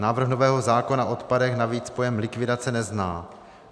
Návrh nového zákona o odpadech navíc pojem likvidace nezná.